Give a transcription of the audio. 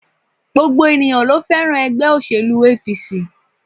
Gbogbo ènìyãn lo fẹ́ràn ègbé òṣèlú APC